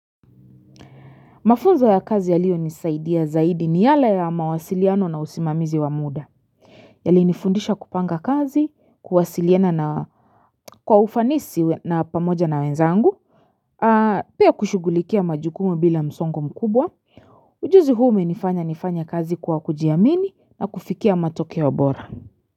Mafunzo ya kazi yaliyo nisaidia zaidi ni yale ya mawasiliano na usimamizi wa muda. Yalinifundisha kupanga kazi, kuwasiliana na kwa ufanisi na pamoja na wenzangu. Pia kushugulikia majukumu bila msongo mkubwa. Ujuzi huo umenifanya nifanye kazi kwa kujiamini na kufikia matokeo bora.